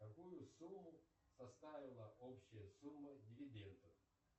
какую сумму составила общая сумма дивидендов